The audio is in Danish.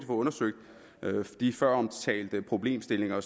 undersøgt de føromtalte problemstillinger og